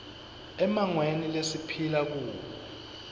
emmangweni lesiphila kuwo